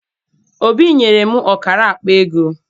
Obi nyere m ọkara akpaego.